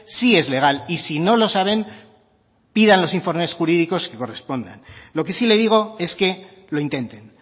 sí es legal y si no lo saben pidan los informes jurídicos que correspondan lo que sí le digo es que lo intenten